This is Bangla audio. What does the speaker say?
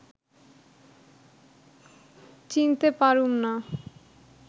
চিনতে পারুম না